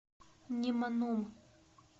неманом